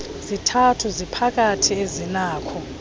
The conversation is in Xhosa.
zithathu ziphakathi azinakho